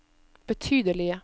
betydelige